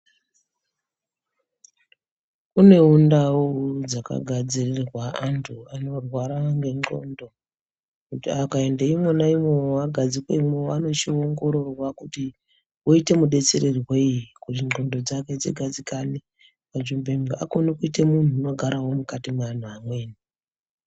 Kunewo ndau dzakagadzirirwa antu anorwara ngendxondo, kuti akaende ivonaivo vagadzikwemwo vanochiongororwa kuti, voite mudetsererwei, kuti ndxondo dzake dzigadzikane panzvimbo, kuti akone kuite munhu unofarawo mukati mweanhu amweni.